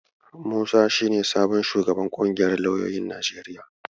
Musa shi ne sabon shugaban ƙungiyar lauyoyin Najeriya.